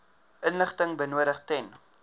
inligting benodig ten